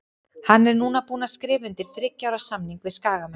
Hann er núna búinn að skrifa undir þriggja ára samning við Skagamenn.